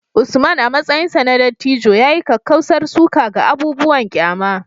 Usman, a matsayinsa na dattijo, ya yi kakkausar suka ga abubuwan ƙyama